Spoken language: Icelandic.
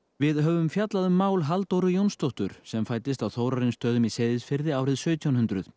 við höfum fjallað um Halldóru Jónsdóttur sem fæddist á Þórarinsstöðum í Seyðisfirði árið sautján hundruð